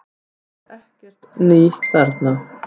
Það er ekkert nýtt þarna